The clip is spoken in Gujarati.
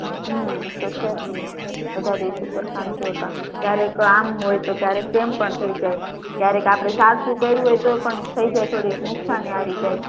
હમ્મ એ તો છે જ ને બધા દિવસો સરખા નથી હોતા ક્યારેક આમ હોય તો ક્યારેક તેમ પણ થઇ જાય કયારેક આપડે સાચું કર્યું હોય તો પણ થઇ જાય થોડી નુકશાની આવી જાય